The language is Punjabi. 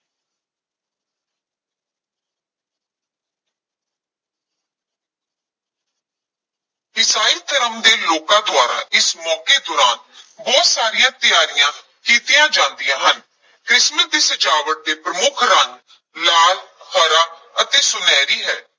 ਈਸਾਈ ਧਰਮ ਦੇ ਲੋਕਾਂ ਦੁਆਰਾ ਇਸ ਮੌਕੇ ਦੌਰਾਨ ਬਹੁਤ ਸਾਰੀਆਂ ਤਿਆਰੀਆਂ ਕੀਤੀਆਂ ਜਾਂਦੀਆਂ ਹਨ, ਕ੍ਰਿਸਮਸ ਦੀ ਸਜਾਵਟ ਦੇ ਪ੍ਰਮੁਖ ਰੰਗ ਲਾਲ, ਹਰਾ ਅਤੇ ਸੁਨਹਿਰੀ ਹੈ।